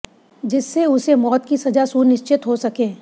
जिससे उसे मौत की सजा सुनिश्चित हो सके